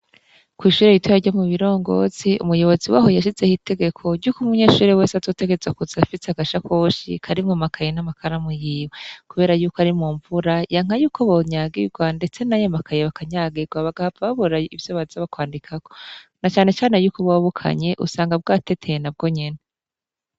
Kw'ishure ritoya ryo mubirongozi, umuyobozi waho yashizeho itegeko ryuko umunyeshure wese azotegerezwa kuza afise agashakoshi karimwo amakaye n'amakaramu yiwe, kubera yuko ari mumvura yanka yuko bonyagirwa ndetse nayo amakaye akanyagirwa bagahava babura ivyo baza kwandikako na cane cane yuko buba bukanye usanga bwateteye nabwo nyene.